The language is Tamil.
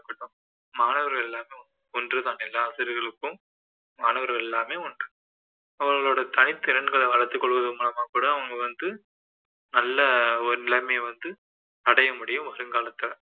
மாணவர்கள் எல்லோரும் ஒன்றுதான் எல்லா ஆசிரியர்களுக்கும் மாணவர்கள் எல்லாருமே ஒன்று அவர்களோட தனித்திறன்களை வளர்த்துக்கொள்வதன் மூலமாகக்கூட அவங்க வந்து நல்ல ஒரு நிலைமைய வந்து அடையமுடியும் வருங்காலத்துல